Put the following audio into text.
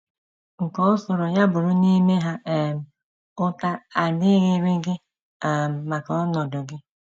Nke ọ sọrọ ya bụrụ n’ime ha um, ụta adịghịrị gị um maka ọnọdụ gị.